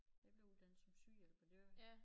Jeg blev uddannet som sygehjælper det var